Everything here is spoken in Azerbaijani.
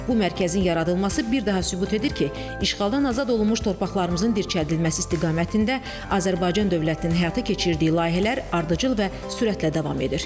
Bu mərkəzin yaradılması bir daha sübut edir ki, işğaldan azad olunmuş torpaqlarımızın dirçəldilməsi istiqamətində Azərbaycan dövlətinin həyata keçirdiyi layihələr ardıcıl və sürətlə davam edir.